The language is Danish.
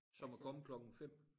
Som at komme klokken 5